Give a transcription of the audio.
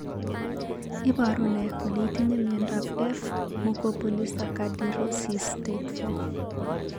Iporu ne kole itinye miondap f Mucopolysaccharidosis type IV?